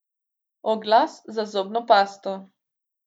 Oglas za zobno pasto.